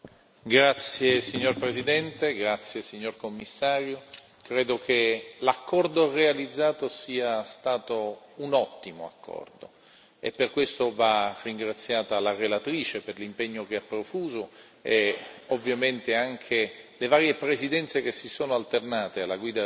Signor Presidente, onorevoli colleghi, signor Commissario, credo che l'accordo realizzato sia stato un ottimo accordo e per questo va ringraziata la relatrice per l'impegno che ha profuso e ovviamente anche le varie presidenze che si sono alternate alla guida del Consiglio